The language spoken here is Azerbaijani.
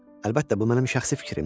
əlbəttə bu mənim şəxsi fikrimdir,